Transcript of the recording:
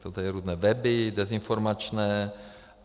Jsou tady různé weby dezinformační.